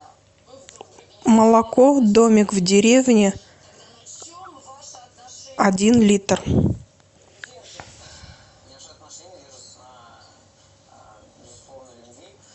молоко домик в деревне один литр